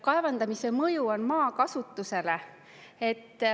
Kaevandamise mõju on maakasutusele.